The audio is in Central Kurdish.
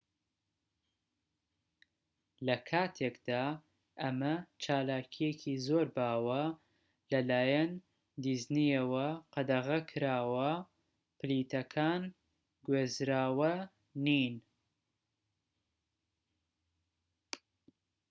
لە کاتێکدا ئەمە چالاکیەکی زۆر باوە لە لایەن دیزنیەوە قەدەغەکراوە پلیتەکان گوێزراوە نین